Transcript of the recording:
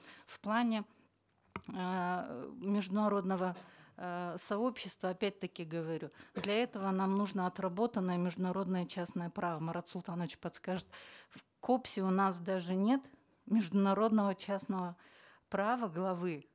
в плане эээ международного эээ сообщества опять таки говорю для этого нам нужно отработанное международное частное право марат султанович подскажет в кобс е у нас даже нет международного частного права главы